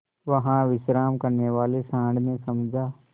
वहाँ विश्राम करने वाले सॉँड़ ने समझा